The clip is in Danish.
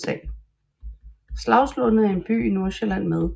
Slagslunde er en by i Nordsjælland med